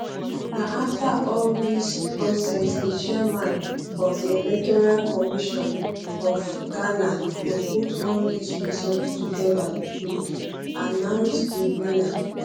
na afta all dis dis process di chairman of di electoral commission of ghana go put all dis results togeda to announce di winner